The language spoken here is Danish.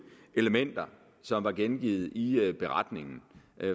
elementer som var gengivet i beretningen